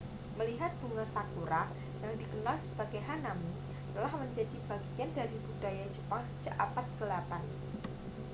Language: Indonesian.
melihat bunga sakura yang dikenal sebagai hanami telah menjadi bagian dari budaya jepang sejak abad ke-8